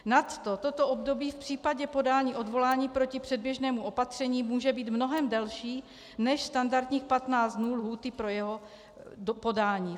Nadto toto období v případě podání odvolání proti předběžnému opatření může být mnohem delší než standardních 15 dnů lhůty pro jeho podání.